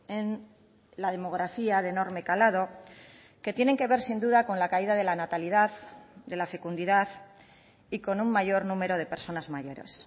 en la demografía de enorme calado que tienen que ver sin duda con la caída de la natalidad de la fecundidad y con un mayor número de personas mayores